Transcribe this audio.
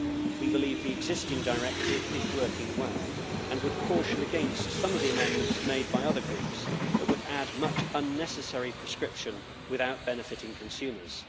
We believe the existing directive is working well and would caution against some of the amendments made by other groups that would add much unnecessary prescription without benefiting consumers.